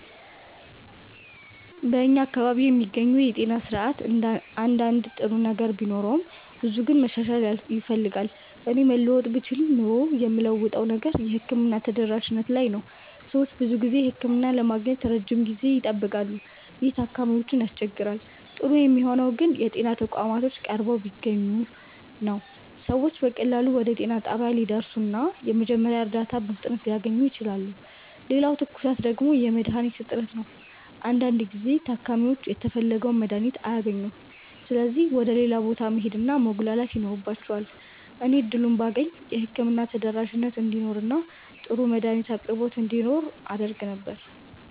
በእኛ አካባቢ የሚገኘው የጤና ስርዓት አንዳንድ ጥሩ ነገር ቢኖረውም ብዙው ግን መሻሻል ይፈልጋል። እኔ መለወጥ ብችል ኖሮ የምለውጠው ነገር የሕክምና ተደራሽነት ላይ ነው። ሰዎች ብዙ ጊዜ ህክምና ለማግኘት ረጅም ጊዜ ይጠብቃሉ፣ ይህም ታካሚዎችን ያስቸግራል። ጥሩ የሚሆነው ግን የጤና ተቋማት ቀርበው ቢገኙ ነው። ሰዎች በቀላሉ ወደ ጤና ጣቢያ ሊደርሱ እና የመጀመሪያ እርዳታ በፍጥነት ሊያገኙ ይችላሉ። ሌላው ትኩሳት ደግሞ የመድሀኒት እጥረት ነው። አንዳንድ ጊዜ ታካሚዎች የተፈለገውን መድሀኒት አያገኙም ስለዚህ ወደ ሌላ ቦታ መሄድ እና መጉላላት ይኖርባቸዋል። እኔ እድሉን ባገኝ የህክምና ተደራሽነት እንዲኖር እና ጥሩ የመድሀኒት አቅርቦት እንዲኖር አደርግ ነበር።